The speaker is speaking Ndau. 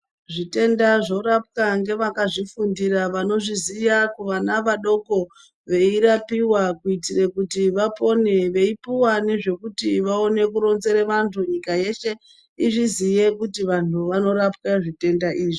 Zvitenda zvorapwa ngevakazvifundira vanozviziya kuvana vadoko veirapiwa kuitire kuti vapone. Veipuwa nezvekuti vakone kurinzere vantu. Nyika yeshe izviziye kuti vanhu vanorapwa zvitenda izvi.